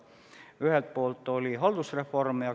Ühelt poolt oli haldusreform.